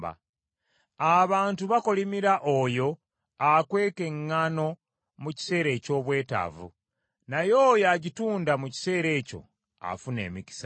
Abantu bakolimira oyo akweka eŋŋaano mu kiseera eky’obwetaavu, naye oyo agitunda mu kiseera ekyo afuna emikisa.